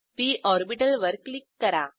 P orbital वर click करा